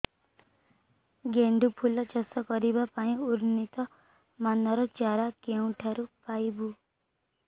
ଗେଣ୍ଡୁ ଫୁଲ ଚାଷ କରିବା ପାଇଁ ଉନ୍ନତ ମାନର ଚାରା କେଉଁଠାରୁ ପାଇବୁ